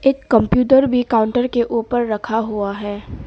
एक कंप्यूटर भी काउंटर के ऊपर रखा हुआ है।